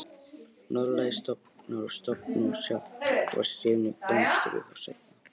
Norðlægir stofnar og stofnar frá sjávarsíðunni blómstruðu þó seinna.